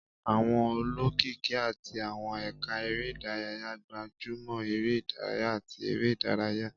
Àwọn olókìkí àti àwọn ẹ̀ka eré ìdárayá gbájú mọ́ eré ìdárayá àti eré ìdárayá.